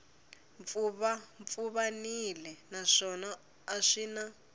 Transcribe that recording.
pfuvapfuvanile naswona a swi na